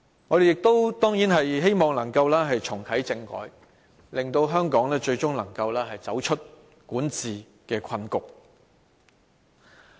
我們亦當然希望能重啟政改，令香港最終能走出管治困局。